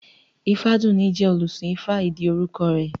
Ifádùúní jẹ́ olùsìn ifá ìdí orúkọ rẹ̀